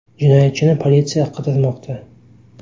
Jinoyatchini politsiya qidirmoqda.